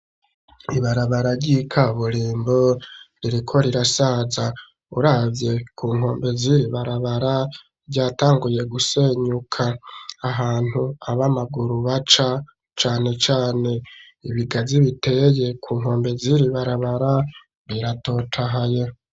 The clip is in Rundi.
Kw'ibarabara ryika burimbo ririko rirasaza uravye ku nkombe ziri barabara ryatanguye gusenyuka ahantu abamaguru baca cane cane ibigazi biteye ku nkombe ziri barabara biratotahaye.